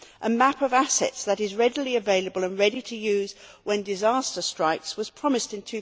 A map of assets, that is readily available and ready to use when disaster strikes, was promised in